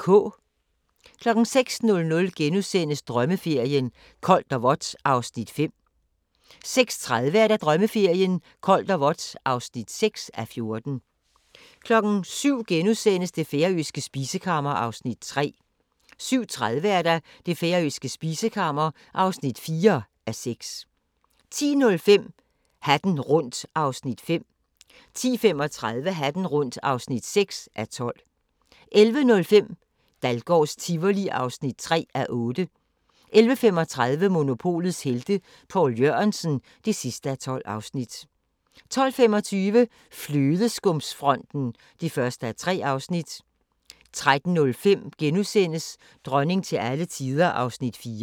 06:00: Drømmeferien: Koldt og vådt (5:14)* 06:30: Drømmeferien: Koldt og vådt (6:14) 07:00: Det færøske spisekammer (3:6)* 07:30: Det færøske spisekammer (4:6) 10:05: Hatten rundt (5:12) 10:35: Hatten rundt (6:12) 11:05: Dahlgårds Tivoli (3:8) 11:35: Monopolets Helte – Poul Jørgensen (12:12) 12:25: Flødeskumsfronten (1:3) 13:05: Dronning til alle tider (4:6)*